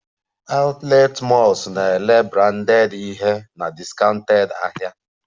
Outlet malls na-ere branded ihe na discounted ahịa